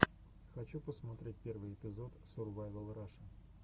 хочу посмотреть первый эпизод сурвайвал раша